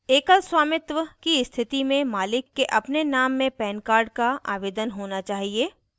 एकल स्वामित्व sole proprietorship की स्थति में मालिक के अपने name में pan कार्ड का आवेदन होना चाहिए